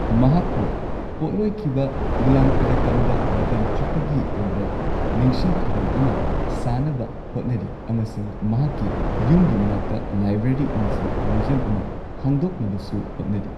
ꯃꯍꯥꯛꯄꯨ ꯄꯣꯠꯂꯣꯢꯈꯤꯕ ꯃꯨꯂꯥꯡꯀꯗꯀꯝꯗ ꯃꯇꯝ ꯆꯨꯞꯄꯒꯤ ꯑꯣꯢꯕ ꯅꯤꯡꯁꯤꯡ ꯈꯨꯚꯝ ꯑꯃ ꯁꯥꯅꯕ ꯍꯣꯠꯅꯔꯤ, ꯑꯃꯁꯨꯡ ꯃꯍꯥꯛꯀꯤ ꯌꯨꯝꯒꯤ ꯃꯅꯥꯛꯇ ꯂꯥꯏꯕ꯭ꯔꯦꯔꯤ ꯑꯃꯁꯨꯡ ꯃ꯭ꯌꯨꯖꯤꯌꯝ ꯑꯃꯥ ꯍꯥꯡꯗꯣꯛꯅꯕꯁꯨ ꯍꯣꯠꯅꯔꯤ꯫